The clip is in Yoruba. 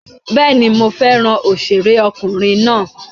Bẹ́ẹ̀ni, mo fẹ́ràn òṣèré ọkùnrin náà.